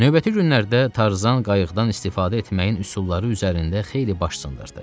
Növbəti günlərdə Tarzan qayıqdan istifadə etməyin üsulları üzərində xeyli baş sındırdı.